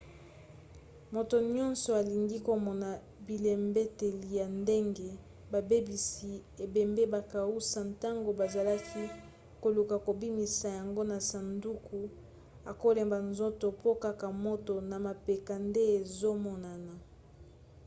moto nyonso alingi komona bilembeteli ya ndenge babebisi ebembe bakausa ntango bazalaki koluka kobimisa yango na sanduku akolemba nzoto po kaka moto na mapeka nde ezomonana